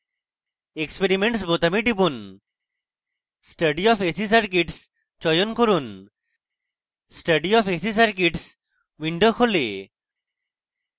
experiments বোতামে টিপুন study of ac circuits চয়ন করুন study of ac circuits window খোলে